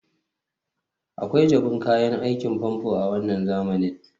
akwai jabun kayan aikin famfo a wannan zamanin